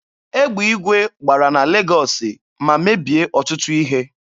Egbe igwe gbara na Legọọsị ma mebie ọtụtụ ihe.